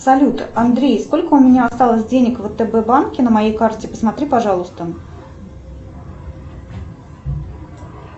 салют андрей сколько у меня осталось денег в втб банке на моей карте посмотри пожалуйста